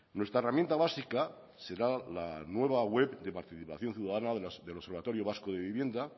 nuestra herramienta básica será la nueva web de participación ciudadana del observatorio vasco de vivienda